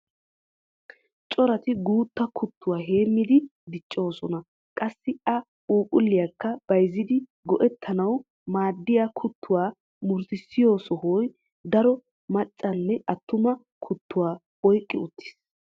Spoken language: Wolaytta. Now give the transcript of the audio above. Corati utta kuttuwaa heemidi dichchiyoosaa qassi a phuuphuliyaakka bayzzidi go"ettanawu maaddiyaa kuttuwaa murutisiyoo sohoy daro macca nne attuma kuttuwaa oyqqi uttiis.